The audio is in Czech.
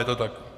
Je to tak?